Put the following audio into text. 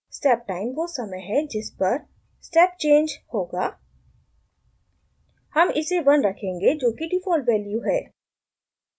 step time वो समय है जिस पर step change होगा हम इसे 1 रखेंगे जोकि डिफ़ॉल्ट वैल्यू है